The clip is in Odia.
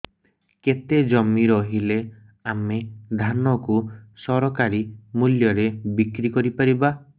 କେତେ ଜମି ରହିଲେ ଆମେ ଧାନ କୁ ସରକାରୀ ମୂଲ୍ଯରେ ବିକ୍ରି କରିପାରିବା